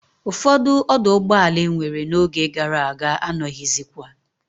Ufodu oduugboala e nwere no oge gara aga anoghizikwa